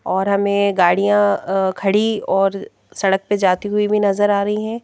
और हमें गाड़ियां अ खड़ी और सड़क पर जाती हुई भी नजर आ रही हैं।